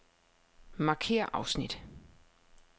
Markér afsnit.